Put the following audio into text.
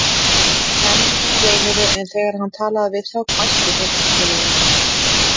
Þeir emjuðu og veinuðu, en þegar hann talaði við þá hvæstu þeir illilega.